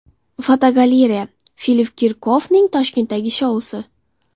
Fotogalereya: Filipp Kirkorovning Toshkentdagi shousi.